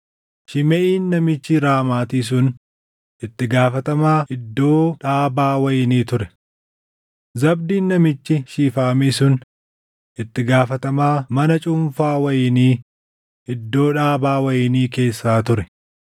Shimeʼiin namichi Raamaatii sun itti gaafatamaa iddoo dhaabaa wayinii ture. Zabdiin namichi Shifaamii sun itti gaafatamaa mana cuunfaa wayinii iddoo dhaabaa wayinii keessaa ture.